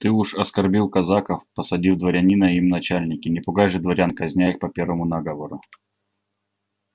ты уж оскорбил казаков посадив дворянина им в начальники не пугай же дворян казня их по первому наговору